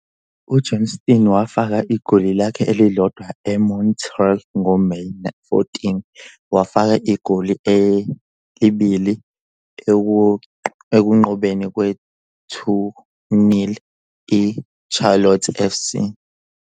UJohnston wafaka igoli lakhe elilodwa eMontreal ngoMeyi 14, wafaka igoli elibili ekunqobeni kwe-2-0 I-Charlotte FC.